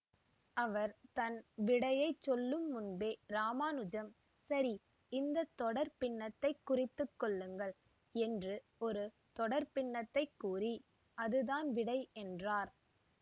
அவர் தன் விடையைச் சொல்லுமுன்பே இராமானுஜன் சரி இந்த தொடர் பின்னத்தைக் குறித்துக் கொள்ளுங்கள் என்று ஒரு தொடர் பின்னத்தைக் கூறி அதுதான் விடை என்றார்